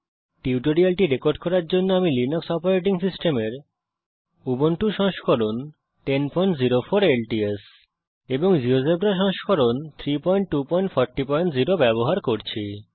এই টিউটোরিয়ালটি রেকর্ড করার জন্যেআমি লিনাক্স অপারেটিং সিস্টেমের উবুন্টু সংস্করণ 1004 ল্টস এবং জীয়োজেব্রা সংস্করণ 32400 ব্যবহার করছি